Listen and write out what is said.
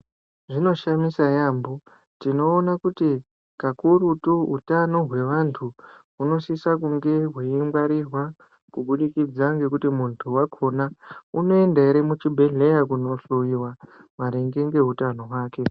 Zvinoshamisa yambo tinoona kuti kakurutu hutano hwevantu hunosisa kunge hweingwarirwa kuburikidza ngekuti muntu wakhona unoenda ere muchibhedhleya kohloyiwa maringe ngeutano hwake.